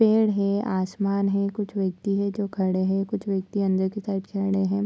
पेड़ है आसमान है कुछ व्यक्ति है जो खड़े हैं कुछ व्यक्ति अंदर की साइड जा ड़े हैं।